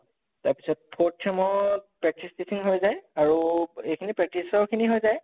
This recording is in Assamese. তাৰ পিছত fourth sem ত practice teaching আৰু এইখ্নি practice ৰ খিনি হৈ যায়